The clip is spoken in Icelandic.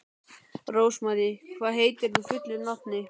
Rósmarý, hvað heitir þú fullu nafni?